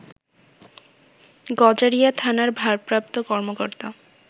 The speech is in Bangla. গজারিয়া থানার ভারপ্রাপ্ত কর্মকর্তা